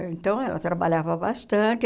Então, ela trabalhava bastante.